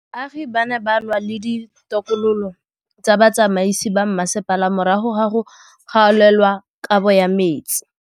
Baagi ba ne ba lwa le ditokolo tsa botsamaisi ba mmasepala morago ga go gaolelwa kabo metsi